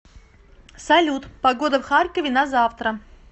салют погода в харькове на завтра